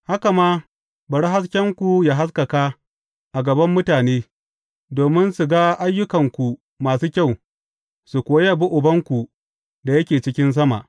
Haka ma, bari haskenku yă haskaka a gaban mutane, domin su ga ayyukanku masu kyau, su kuwa yabi Ubanku da yake cikin sama.